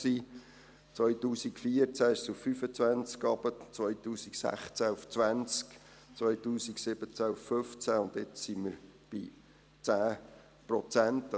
2014 sank sie auf 25 Prozent, 2016 auf 20 Prozent, 2017 auf 15 Prozent, und jetzt sind wir bei 10 Prozent.